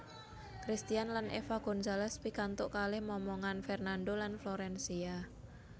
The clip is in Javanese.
Cristian lan Eva Gonzales pikantuk kalih momongan Fernando lan Florencia